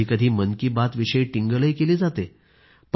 कधी कधी मन की बातविषयी टिंगलही केली जाते